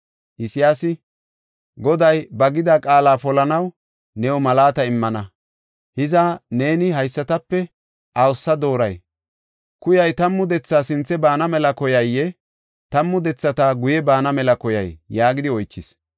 Isayaasi, “Goday ba gida qaala polanaw new malaata immana. Hiza neeni haysatape awusa dooray? Kuyay tammu dethaa sintha baana mela koyayee? Tammu dethata guye baana mela koyay?” yaagidi oychis.